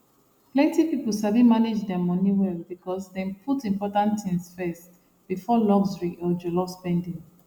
plenty people sabi manage their money well because dem dey put important things first before luxury or jollof spending